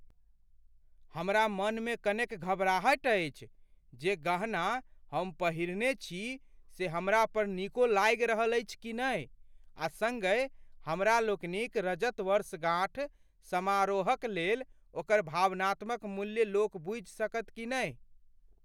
हमरा मनमे कनेक घबराहटि अछि जे, जे गहना हम पहिरने छी से हमरा पर नीको लागि रहल अछि कि नहि आ सङ्गहि हमरा लोकनिक रजत वर्षगाँठ समारोहकलेल ओकर भावनात्मक मूल्य लोक बूझि सकत कि नहि।